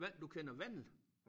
Hvad du kender Vandel?